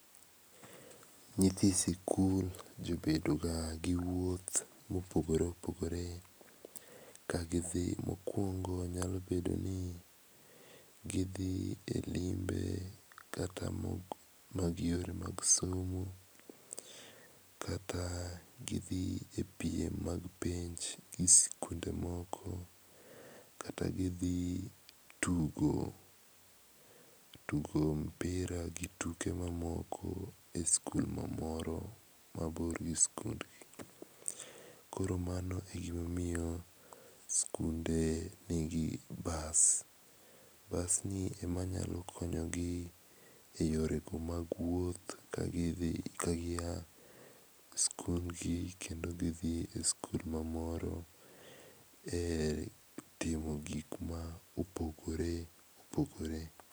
Nyithi sikul jobedo ga gi wuoth mopogore opogore ka gidhi mokuongo nyalo bedo ni gidhi e limbe kata moko mag yore mag somo, kata gidhi e piem mag penj gi sikunde moko kata gidhi tugo tugo mpira gi tuke mamoko e sikul mamoro mabor gi sikundgi. Koro mano emomiyo sikunde nigi bas. Bas gi ema nyalo konyogi e yore mag wuoth kagidhi e sikul mamoro e timo gik ma opogore opogore.